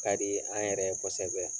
Ka di an yɛrɛ ye kosɛbɛ